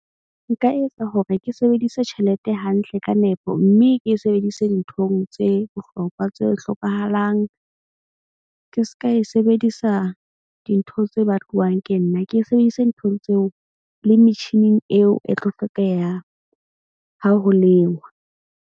Nka etsa hore ke sebedise tjhelete hantle ka nepo, mme ke sebedise dinthong tse bohlokwa tse hlokahalang. Ke ska e sebedisa dintho tse batlwang ke nna. Ke sebedise nthong tseo le metjhining eo e tlo hlokeha ha ho lenngwa.